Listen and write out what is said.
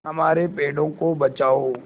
हमारे पेड़ों को बचाओ